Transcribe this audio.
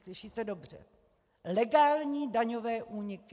Slyšíte dobře: legální daňové úniky!